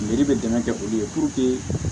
bɛ dɛmɛ kɛ olu ye